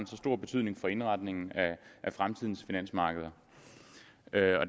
så stor betydning for indretningen af fremtidens finansmarkeder